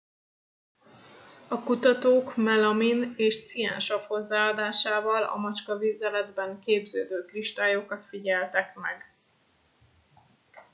a kutatók melamin és ciánsav hozzáadásával a macskavizeletben képződő kristályokat figyeltek meg